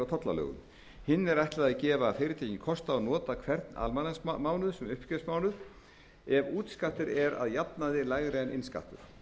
tollalögum hinni er ætlað að gefa fyrirtækjum kost á að nota hvern almanaksmánuð sem uppgjörstímabil ef útskattur er að jafnaði lægri en innskattur